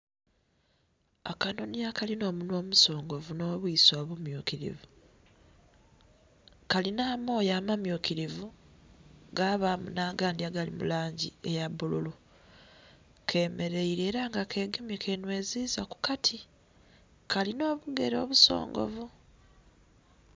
Akanhonhi akalinha omunhwa omusongovu nho bwiso obummyukilivu, kalinha amoya amamyukilivu gabamu nha gandhi agali mulangi eya bululu kemereire era nga kegamye kanhweziza kukati, kalinha obugele obusongovu.